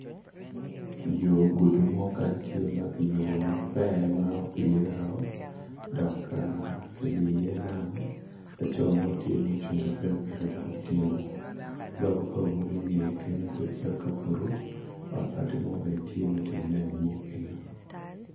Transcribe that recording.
Yo gudi mo tye maber ma opyere o dok ka kilio i ye lam laco mo tye ma ocung gipikipiki dok otingo bao bao inge kenyo obedo calo kabuto ot bati bene tye matye nen inge kenyo.